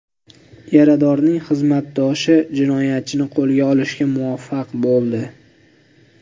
Yaradorning xizmatdoshi jinoyatchini qo‘lga olishga muvaffaq bo‘ldi.